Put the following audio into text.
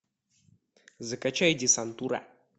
закачай десантура